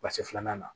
filanan na